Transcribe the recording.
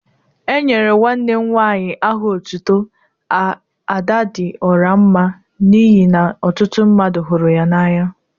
Enyere nwanne m nwaanyi aha otutu Ada di ora mma n'ihi na ọtụtụ mmadu huru ya n'anya.